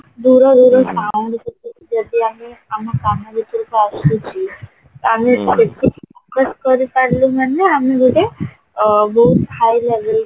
ଦୂର ଦୂର sound ସବୁ ଯଦି ଆମେ ଆମ କାନ ଭିତରକୁ ଆସୁଚି focus କରିପାରିଲୁ ମାନେ ଆମେ ଗୋଟେ ବହୁତ high Lebel